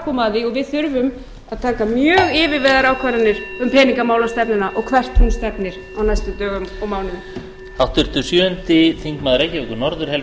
koma að því og við þurfum að taka mjög yfirvegaðar ákvarðanir um peningamálastefnuna og hvert hún stefnir á næstu dögum og mánuðum